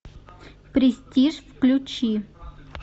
престиж включи